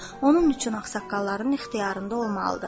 Onun üçün ağsaqqalların ixtiyarında olmalıdır.